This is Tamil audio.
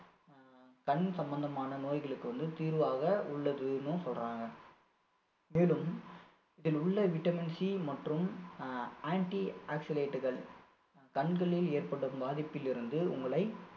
கண் சம்பந்தமான நோய்களுக்கு வந்து தீர்வாக உள்ளதுன்னும் சொல்றாங்க மேலும் இதிலுள்ள vitamin C மற்றும் அஹ் anti-oxalate கள் கண்களில் ஏற்படும் பாதிப்பிலிருந்து உங்களை